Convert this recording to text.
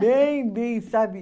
sabe?